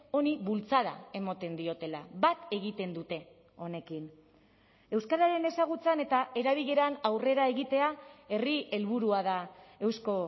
honi bultzada ematen diotela bat egiten dute honekin euskararen ezagutzan eta erabileran aurrera egitea herri helburua da eusko